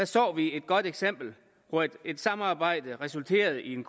så vi et godt eksempel på et et samarbejde der resulterede i en